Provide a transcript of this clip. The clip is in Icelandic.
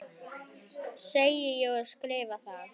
Segi og skrifa það.